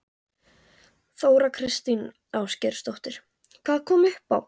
Þóra Kristín Ásgeirsdóttir: Hvað kom upp á?